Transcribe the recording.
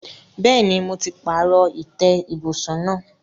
Bẹ́ẹ̀ni, mo ti pààrọ̀ ìtẹ́ ibùsùn náà.